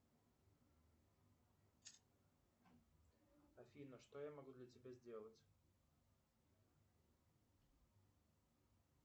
афина что я могу для тебя сделать